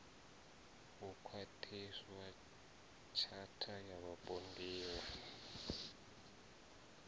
hu khwaṱhiswa tshatha ya vhapondiwa